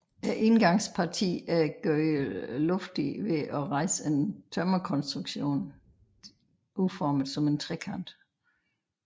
Indgangspartiet er gjort luftigt ved at rejse en tømmerkonstruktion udformet som en trekant